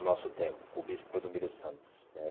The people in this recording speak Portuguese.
O nosso tempo, com o Bispo Clodomiro Santos, né?